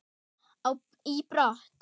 í brott.